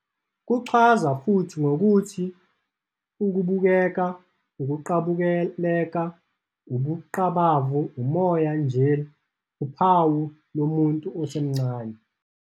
Kuchazwa futhi ngokuthi "ukubukeka, ukuqabuleka, ubungqabavu, umoya, njll., Uphawu lomuntu osemncane".